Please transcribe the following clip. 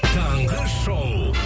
таңғы шоу